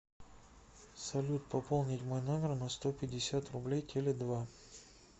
салют пополнить мой номер на сто пятьдесят рублей теле два